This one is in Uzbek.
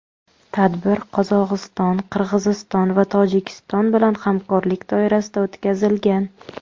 Tadbir Qozog‘iston, Qirg‘iziston va Tojikiston bilan hamkorlik doirasida o‘tkazilgan.